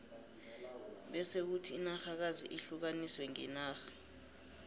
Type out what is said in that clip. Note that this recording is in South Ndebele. bese kuthi inarhakazi zihlukaniswe ngenarha